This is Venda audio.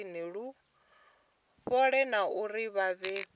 fhole na uri vha pfe